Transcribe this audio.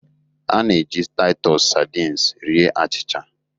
A na-eji Titus sardines rie achịcha